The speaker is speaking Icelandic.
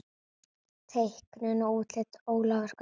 Teiknun og útlit Ólafur Gaukur.